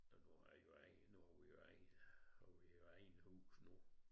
Og nu har vi jo eget nu har vi jo eget nu har vi jo eget hus nu